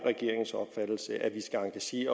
i